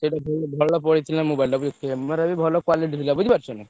ସେଇଟା ବି ଭଲ ଭଲ ପଡିଥିଲା mobile ଟା camera ବି ଭଲ quality ଥିଲା ବୁଝି ପାରୁଛ ନା।